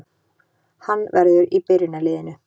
Hann verður í byrjunarliðinu